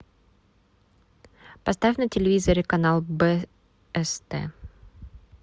поставь на телевизоре канал бст